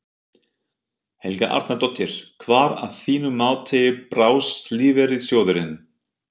Helga Arnardóttir: Hvar að þínu mati brást lífeyrissjóðurinn?